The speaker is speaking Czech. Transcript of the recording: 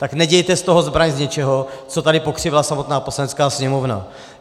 Tak nedělejte z toho zbraň z něčeho, co tady pokřivila samotná Poslanecká sněmovna.